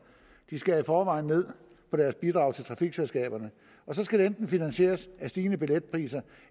de skærer i forvejen ned på deres bidrag til trafikselskaberne og så skal det enten finansieres stigende billetpriser